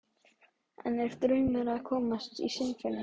En er draumur að komast í Sinfóníuna?